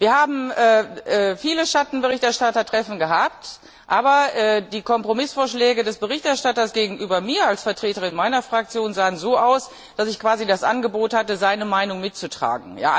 Wir haben viele Schattenberichterstattertreffen gehabt, aber die Kompromissvorschläge des Berichterstatters gegenüber mir als Vertreterin meiner Fraktion sahen so aus, dass ich quasi das Angebot hatte, seine Meinung mitzutragen.